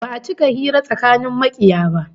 Ba'a cika hira tsakanin makiya ba